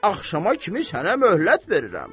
Axşama kimi sənə möhlət verirəm.